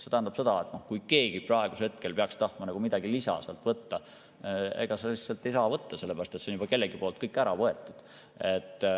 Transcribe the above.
See tähendab seda, et kui keegi praegusel hetkel peaks tahtma sealt midagi lisaks võtta, siis lihtsalt ei saa võtta, sellepärast et see on kellegi poolt juba ära võetud.